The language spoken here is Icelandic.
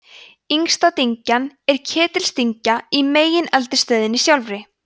yngsta dyngjan er ketildyngja í megineldstöðinni sjálfri